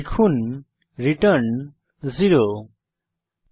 লিখুন return 0 semicolon